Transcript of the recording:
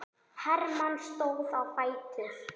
Hermann stóð á fætur.